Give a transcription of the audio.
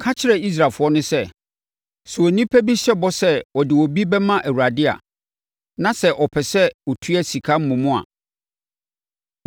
“Ka kyerɛ Israelfoɔ no sɛ, ‘Sɛ onipa bi hyɛ bɔ sɛ ɔde obi bɛma Awurade a, na sɛ ɔpɛ sɛ ɔtua sika mmom a,